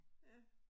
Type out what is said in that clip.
Ja